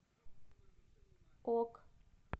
ок